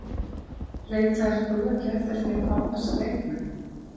Leitaðir þú ekki eftir því að fá þessa leikmenn?